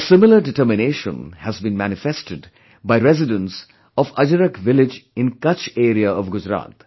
A similar determination has been manifested by residents of Ajrak village in Kutch area of Gujarat